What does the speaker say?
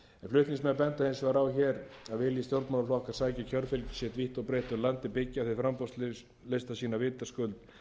flutningsmenn benda hins vegar á að vilji stjórnmálaflokkar sækja kjörfylgi sitt vítt og breitt um landið byggja þeir framboðslista sína vitaskuld